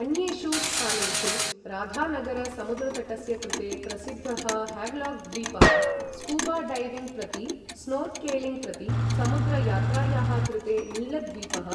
अन्येषु स्थानेषु राधानगरसमुद्रतटस्य कृते प्रसिद्धः हेवलाक् द्वीपः, स्कूबाडैविंग् प्रति स्नोर्केलिंग् प्रतिसमुद्रयात्रायाः कृते नीलद्वीपः,